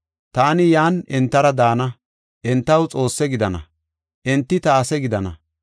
Taani yan entara daana; entaw Xoosse gidana; enti ta ase gidana.